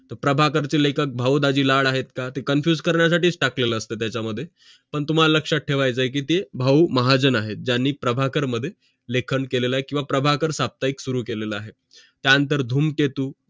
प्रभाकर चे लेखक भाऊ दाजीलाड आहेत का ते confused करण्या साठीच टाकलं असत त्याचा मध्ये पण तुम्हाला लक्षात ठेवायचं आहे कि ते भाऊ महाजन आहेत ज्यांनी प्रभाकर मध्ये लेखन केलेलं आहे किंव्हा प्रभाकर साप्ताहिक सुरु केलेलं आहे त्या नंतर धूमकेतू